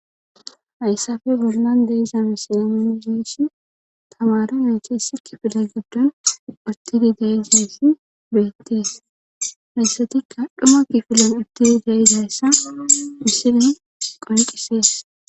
hayssafe bolnan deyiza misiyaminzeeshi tamara neeche isi kifila giddon urtidi deesesi beettees medisetikka dhuma kifila udtidi dayizayssa misiren qonqisees